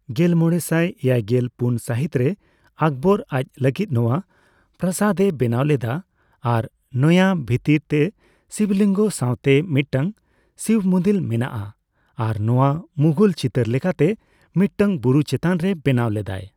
ᱜᱮᱞᱢᱚᱲᱮᱥᱟᱭ ᱮᱭᱟᱭᱜᱮᱞ ᱯᱩᱱ ᱥᱟᱹᱦᱤᱛ ᱨᱮ ᱟᱠᱵᱚᱨ ᱟᱪ ᱞᱟᱹᱜᱤᱫ ᱱᱳᱣᱟ ᱯᱨᱟᱥᱟᱫ ᱮ ᱵᱮᱱᱟᱣ ᱞᱮᱫᱟ ᱟᱨ ᱱᱳᱣᱟ ᱵᱷᱤᱛᱤᱨ ᱨᱮ ᱥᱤᱵᱞᱤᱝᱜᱚ ᱥᱟᱸᱣᱛᱮ ᱢᱤᱫᱴᱟᱝ ᱥᱤᱵ ᱢᱩᱫᱤᱞ ᱢᱮᱱᱟᱜᱼᱟ ᱟᱨ ᱱᱳᱣᱟ ᱢᱩᱜᱷᱚᱞ ᱪᱤᱛᱟᱹᱨ ᱞᱮᱠᱟᱛᱮ ᱢᱤᱫᱴᱟᱝ ᱵᱩᱨᱩ ᱪᱮᱛᱟᱱ ᱨᱮ ᱵᱮᱱᱟᱣ ᱞᱮᱫᱟᱭ ᱾